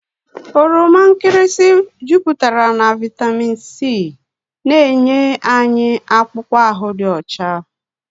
Oroma nkịrịsị bara ụba na vitamini C na-enye anyị akpụkpọ ahụ dị ọcha.